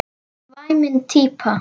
Væmin típa.